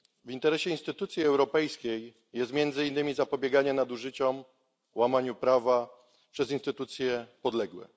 W interesie instytucji europejskiej jest między innymi zapobieganie nadużyciom i łamaniu prawa przez instytucje podległe.